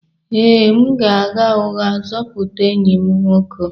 Ee, m ga-agha ụgha zọpụta enyi m nwoke